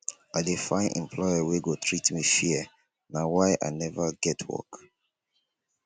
i dey find employer wey go treat me fair na why i neva get work